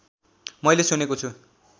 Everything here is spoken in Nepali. मैले सुनेको छु